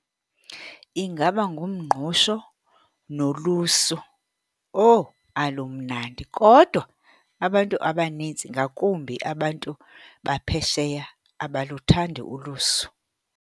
Ingaba ngumngqusho nolusu. Owu, alumnandi! Kodwa abantu abanintsi ngakumbi abantu baphesheya abaluthandi ulusu.